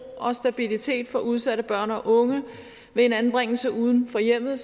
og stabilitet for udsatte børn og unge ved en anbringelse uden for hjemmet